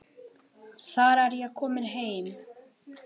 Þar er ég komin heim.